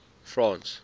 france